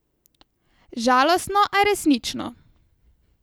Žalostno, a resnično.